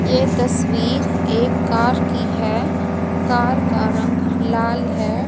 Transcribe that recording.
ये तस्वीर एक कार की है कार का रंग लाल है।